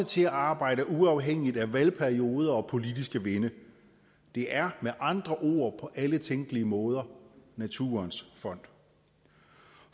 til at arbejde uafhængigt af valgperioder og politiske vinde det er med andre ord på alle tænkelige måder naturens fond